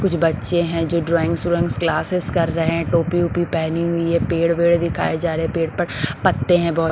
कुछ बच्चे हैं जो ड्राविंग्स व्रोइंग्स क्लासेस कर रहे हैं टोपी वोपी पहनी हुई है पेड़ वेड दिखाए जा रहे हैं पेड़ पर पत्ते हैं बोहोत ।